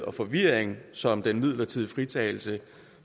og forvirring som den midlertidig fritagelse